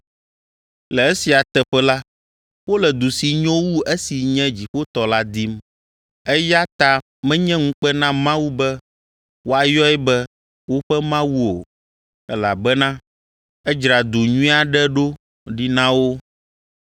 Le esia teƒe la, wole du si nyo wu esi nye dziƒotɔ la dim. Eya ta menye ŋukpe na Mawu be woayɔe be woƒe Mawu o, elabena edzra du nyui aɖe ɖo ɖi na wo.